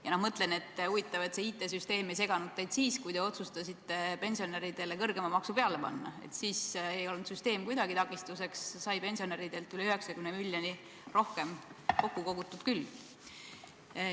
Ja ma mõtlen, et huvitav, et see IT-süsteem ei seganud teid siis, kui te otsustasite pensionäridele kõrgema maksu peale panna, siis ei olnud süsteem kuidagi takistuseks, sai pensionäridelt üle 90 miljoni rohkem kokku kogutud küll.